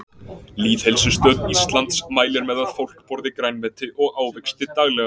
Lýðheilsustöð Íslands mælir með að fólk borði grænmeti og ávexti daglega.